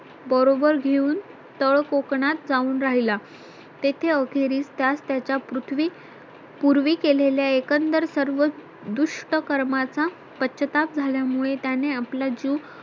बरोबर घेऊन तळ कोकणात जाऊन राहिला तेथे अखेरीस त्यास त्याचा पृथ्वी पूर्वी केलेल्या एकंदर सर्व दुष्टकर्मांचा पश्चात्ताप झाल्यामुळे त्याने आपला जीव